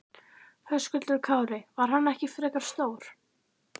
Höskuldur Kári: Var hann ekki frekar stór?